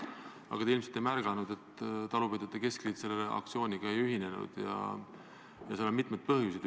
Aga te ilmselt ei märganud, et talupidajate keskliit selle aktsiooniga ei ühinenud, ja sellel on mitmeid põhjuseid.